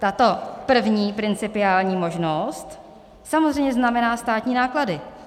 Tato první principiální možnost samozřejmě znamená státní náklady.